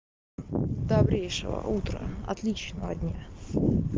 добрейшего утра отличного дня